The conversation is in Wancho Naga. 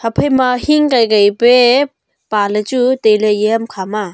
phaima hing kai kai pia pa ley chu tailey eya ham khama.